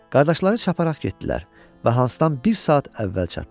Qardaşları çapparaq getdilər və Hansdan bir saat əvvəl çatdılar.